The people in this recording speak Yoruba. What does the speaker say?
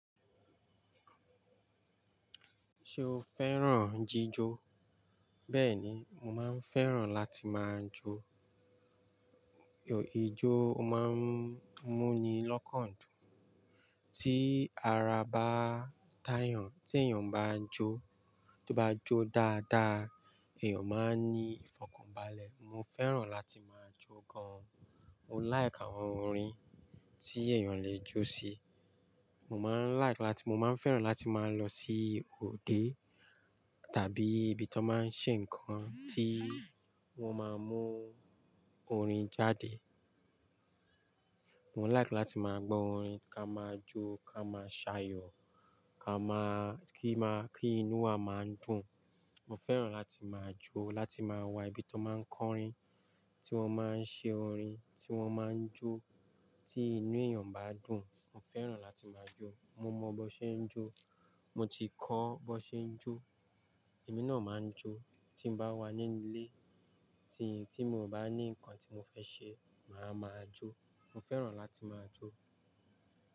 Ṣo fẹ́ràn jíjó? Bẹ́ẹ̀ni, mo máa ń fẹ́ràn láti máa jó. Ijò, o máa ń mú ni lọ́kàn jù. Tí ara bá tàyàn, tí èèyàn bá jó, tó bá jó dáadáa, èèyàn máa ní ìfọ̀kànbalẹ̀. Mo fẹ́ràn láti máa jó gan. Mo like àwọn orin tí èèyàn le jó sí. Mo máa ń like láti, mo máa ń fẹ́ràn láti máa lọ sí òde tàbí ibi tí wọ́n máa ń ṣe nǹkan tí wọ́n máa mú orin jáde. Mo like láti máa gbọ́ orin ká máa jó, ká máa ṣàyọ̀, ká máa, kí má, kí inú wa máa dùn. Mo fẹ́ràn láti máa jó, láti máa wà ibi tọ́n máa ń kọ orin, tí wọ́n máa ń ṣe orin, tí wọ́n máa ń jó. Tí inú èèyàn bá dùn, mo fẹ́ràn láti máa jó. Mo mọ bọ́ ṣe ń jó. Mo ti kọ́ bọ́ ṣe ń jó. Èmi náà máa ń jó. Tí n bá wà nínú ilé, tí, tí mo ò bá ní nǹkan tí mo fẹ́ ṣe, má máa jó. Mo fẹ́ràn láti máa jó.